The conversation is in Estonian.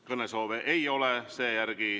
Sellist soovi ei ole.